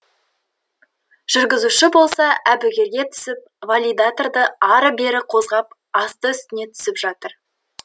жүргізуші болса әбігерге түсіп валидаторды ары бері козғап асты үстіне түсіп жатыр